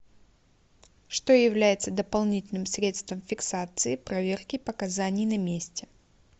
что является дополнительным средством фиксации проверки показаний на месте